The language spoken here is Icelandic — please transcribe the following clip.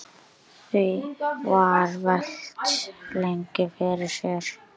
Því var velt lengi fyrir sér.